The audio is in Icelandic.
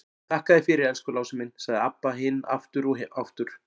Þakka þér fyrir, elsku Lási minn, sagði Abba hin aftur og aftur.